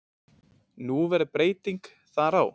Nú verður breyting þar á.